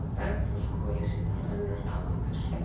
Bergþórshvoli sé þar önnur aðalpersóna.